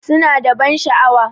Suna da ban sha'awa.